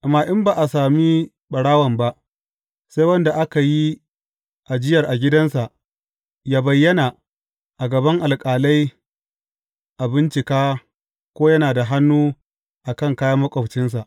Amma in ba a sami ɓarawon ba, sai wanda aka yi ajiyar a gidansa, yă bayyana a gaban alƙalai a bincika ko yana da hannu a kan kayan maƙwabcinsa.